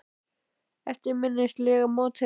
Eftirminnilegasti mótherji?